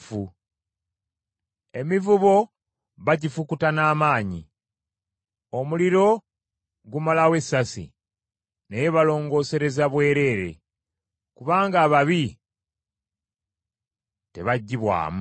Emivubo bagifukuta n’amaanyi, omuliro gumalawo essasi, naye balongoosereza bwereere kubanga ababi tebaggyibwamu.